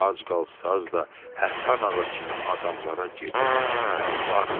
Ac qalsaz da Həsən ağa kimi adamlara gedib yalvarmayın.